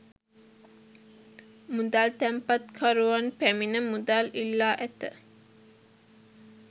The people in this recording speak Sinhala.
මුදල් තැන්පත්කරුවන් පැමිණ මුදල් ඉල්ලා ඇත